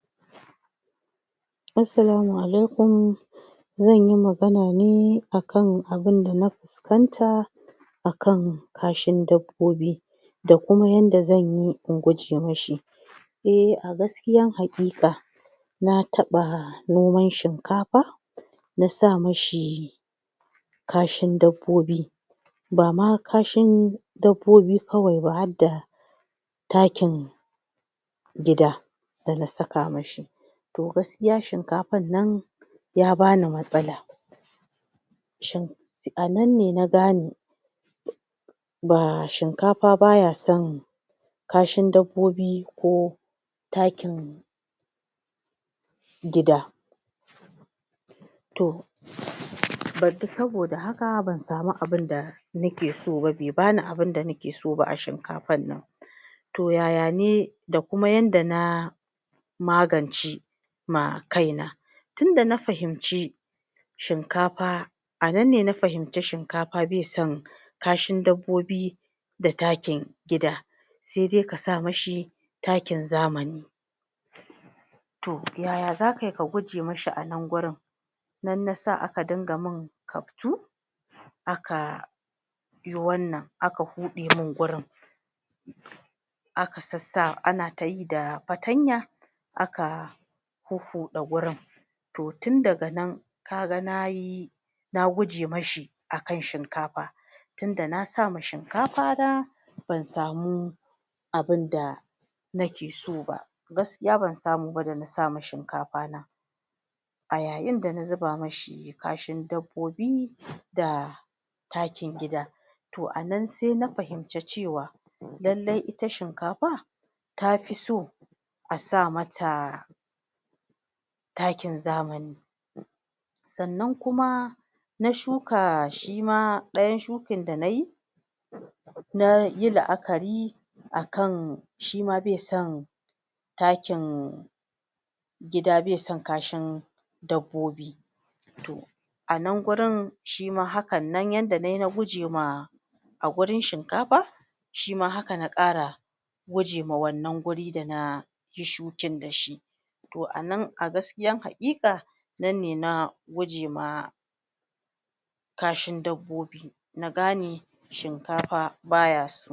Assalamun alaikum, zanyi magana ne akan abun dana fuskanta akan kashin dabbobi da kuma yanda zanyi in guje mishi. Eh, a gaskiyan hakika na taɓa noman shinkafa na sa mishi kashin dabbobi bama kashin dabbobi kawai ba hadda takin gida dana saka mishi toh gaskiya shinkafannan ya bani matsala, shin a nan ne na gane ba shinkafa baya son kashin dabbobi ko takin gida toh um ban fi saboda haka ban sami abinda nake so ba be bani abinda nake so ba a shinkafannan, toh yayane da kuma yanda na magance ma kaina, tunda na fahimci shinkafa a nan ne na fahimci shinkafa be san kashin dabbobi da takin gida, se de ka sa mishi takin zamani. Toh yaya zaka yi ka guje mishi anan gurin nan nasa aka dinga mun kaftu aka yi wannan aka huɗe mun gurin aka sassa ana ta yi da fatanya aka huhuɗa gurin, toh tun daga nan kaga nayi na guje mashi akan shinkafa tunda na sama shinkafana ban samu abun da na ke so ba, gaskiya ban samu ba dana sama shinkafana, a yayin dana zuba mashi kashin dabbobi da takin gida toh anan se na fahimci cewa lalle ita shinkafa tafi so a sa mata takin zamani, sannan kuma na shuka, shima ɗaya shukin da nayi na yi la'akari akan shima be son takin gida be son kashin dabbobi anan gurin shima hakkan nan yanda nai na guje ma a gurin shinkafa shima haka na kara guje ma wannan gurin da na yi shukin da shi toh anan a gaskiyan hakika nan ne na guje ma kashin dabbobi, na gane shinkafa baya so.